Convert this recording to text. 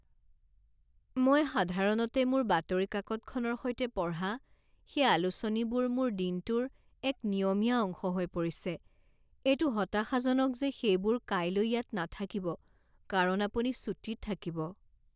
মই সাধাৰণতে মোৰ বাতৰি কাকতখনৰ সৈতে পঢ়া সেই আলোচনীবোৰ মোৰ দিনটোৰ এক নিয়মীয়া অংশ হৈ পৰিছে। এইটো হতাশাজনক যে সেইবোৰ কাইলৈ ইয়াত নাথাকিব কাৰণ আপুনি ছুটীত থাকিব।